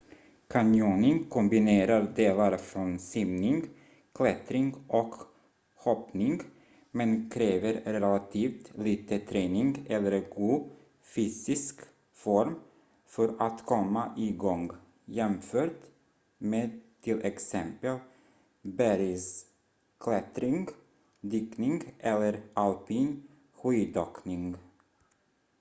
canyoning kombinerar delar från simning klättring och hoppning - men kräver relativt lite träning eller god fysisk form för att komma igång jämfört med t.ex. bergsklättring dykning eller alpin skidåkning